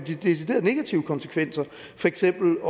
deciderede negative konsekvenser for eksempel